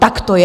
Tak to je.